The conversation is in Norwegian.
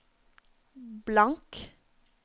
blank